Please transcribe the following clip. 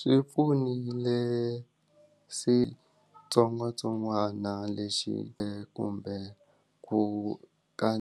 Swi pfunile sitsongwatsongwana lexi kumbe ku ka.